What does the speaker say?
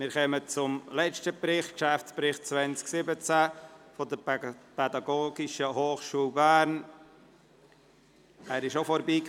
Wir kommen zum letzten Bericht, dem Geschäftsbericht 2017 der Pädagogischen Hochschule Bern (PH Bern).